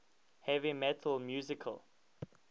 heavy metal musical